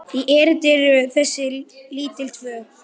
í erindi þessi lítil tvö.